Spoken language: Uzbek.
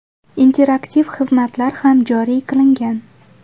Interaktiv xizmatlar ham joriy qilingan.